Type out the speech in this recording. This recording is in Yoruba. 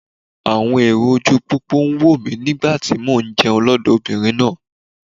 Àwọn èrò ojúu pópó ń wò mí nígbà tí mò ń jẹun lọ́dọ̀ obìnrin náà.